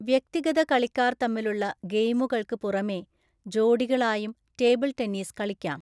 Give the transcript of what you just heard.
വ്യക്തിഗത കളിക്കാർ തമ്മിലുള്ള ഗെയിമുകൾക്ക് പുറമേ, ജോഡികളായും ടേബിൾ ടെന്നീസ് കളിക്കാം.